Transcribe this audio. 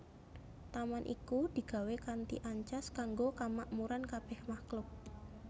Taman iku digawé kanthi ancas kanggo kamakmuran kabèh makhluk